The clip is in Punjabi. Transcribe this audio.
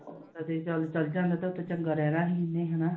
ਤੇ ਚੱਲ ਚਲਾ ਜਾਂਦਾ ਤੇ ਓਥੇ ਚੰਗਾ ਰਹਿਣਾ ਸੀ ਇਹਨੇ ਹਨਾ?